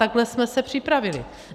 Takhle jsme se připravili.